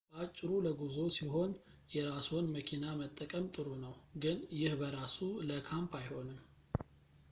በአጭሩ፣ ለጉዞ ሲሆን የራስዎን መኪና መጠቀም ጥሩ ነው ግን ይህ በራሱ ለ"ካምፕ አይሆንም